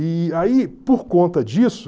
E aí, por conta disso...